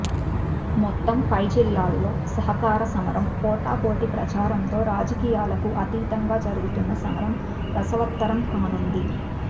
మొత్తంపై జిల్లాలో సహకార సమరం పోటాపోటీ ప్రచారంతో రాజకీయాలకు అతీతంగా జరుగుతున్న సమరం రసవత్తరం కానుంది